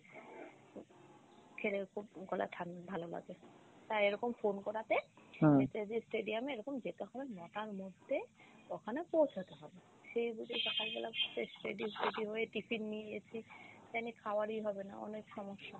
খেলেও খুব গলায় ঠান~ভালো লাগে তা এরকম phone করাতে নেতাজি stadium এ এরকম যেতে হবে নটার মধ্যে ওখানে পৌছাতে হবে সে সকাল বেলা fresh ready টেডি হয়ে tiffin নিয়ে গেছি এখানে খাওয়ারে ই হবে না অনেক সমস্যা।